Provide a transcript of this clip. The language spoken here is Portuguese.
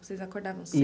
Vocês acordavam